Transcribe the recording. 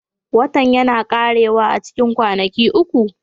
Watan yana ƙarewa a cikin kwanaki uku